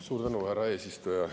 Suur tänu, härra eesistuja!